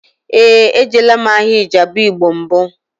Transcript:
Éè, ejela m ahịa Ijebu igbo mbụ